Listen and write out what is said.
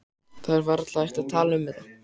Það er varla hægt að tala um þetta.